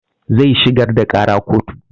Zai shigar da ƙara kotu